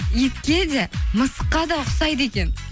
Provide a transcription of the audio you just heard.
итке де мысыққа да ұқсайды екен